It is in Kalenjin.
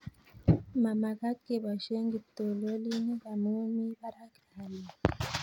Ma magat keboishe kiptololinik amu mii parak haliyet